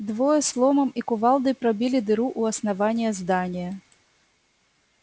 двое с ломом и кувалдой пробили дыру у основания здания